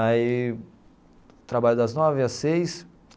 Aí trabalho das nove às seis.